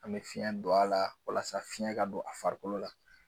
An me fiɲɛ don a la walasa fiɲɛ ka don a farikolo la